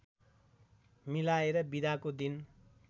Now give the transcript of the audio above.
मिलाएर बिदाको दिन